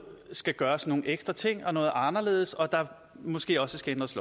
skal gøres nogle ekstra ting og noget anderledes og at der måske også skal ændres